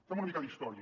fem una mica d’història